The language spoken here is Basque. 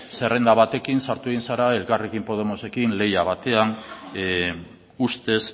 zerrenda batekin sartu zara elkarrekin podemosekin lehia batean ustez